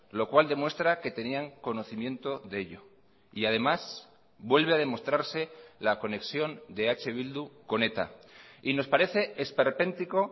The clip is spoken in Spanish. lo cual demuestra que tenían conocimiento de ello y además vuelve a demostrarse la conexión de eh bildu con eta y nos parece esperpéntico